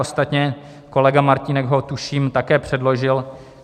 Ostatně kolega Martínek ho tuším také předložil.